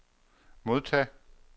modtage